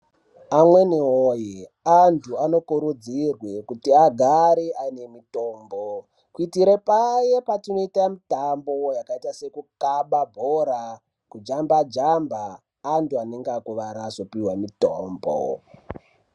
Amunawoye! antu anokurudzirwe kuti agare ane mitombo kuitire paye patinoite mitambo yakaite sekukabe bhora ,kujambajamba antu anenge akuwara azopiwe mitombo.